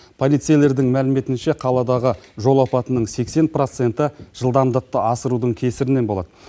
полицейлердің мәліметінше қаладағы жол апатының сексен проценті жылдамдықты асырудың кесірінен болады